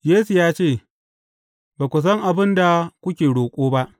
Yesu ya ce, Ba ku san abin da kuke roƙo ba.